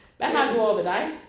Hvad har du ovre ved dig?